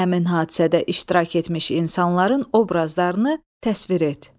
Həmin hadisədə iştirak etmiş insanların obrazlarını təsvir et.